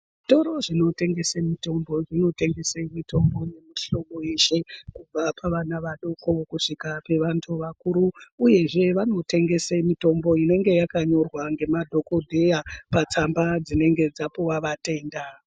Zvitoro zvinotengese mitombo zvinotengese mitombo yemihlobo yeshe. Kubva pavana vadoko kusvika pevantu vakuru, uyezve vanotengese mitombo inonge yakanyorwa ngemadhogodheya patsamba dzinenge dzapuva vatenda.